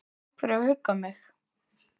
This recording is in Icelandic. Takk fyrir að hugga mig.